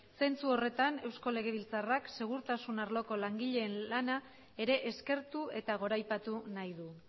zentsu horretan eusko legebiltzarrak segurtasun arloko langileen lana ere eskertu eta goraipatu nahi du